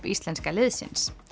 íslenska liðsins